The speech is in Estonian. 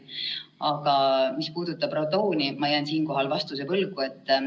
Aga mis puudutab radooni, siis ma jään siinkohal vastuse võlgu.